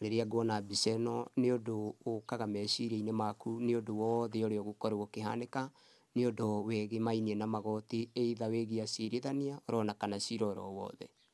Rĩrĩa nguona mbica ĩno nĩ ũndũ ũkaga meciria-inĩ makũ nĩ ũndũ wothe ũrĩa ũgũkorwo ũkĩhanĩka, nĩ ũndũ wĩgĩmainiĩ na magoti either wĩgie acirithania onakana cira orowothe.